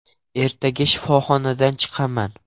Ertaga shifoxonadan chiqaman.